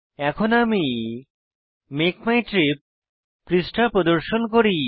এখন আমি Make My Trip পৃষ্ঠা প্রদর্শন করি